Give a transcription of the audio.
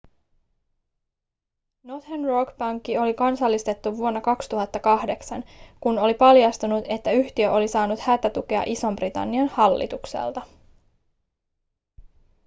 northern rock pankki oli kansallistettu vuonna 2008 kun oli paljastunut että yhtiö oli saanut hätätukea ison-britannian hallitukselta